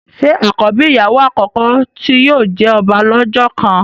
ṣe àkọ́bí ìyàwó àkọ́kọ́ tí yóò jẹ ọba lọ́jọ́ kan?